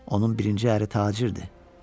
Onun birinci əri tacirdir.